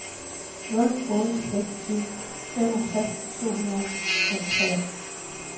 nul otte seks syv femogtres to hundrede og treogfyrre